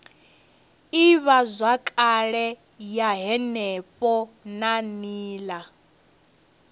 ivhazwakale ya henefho na nila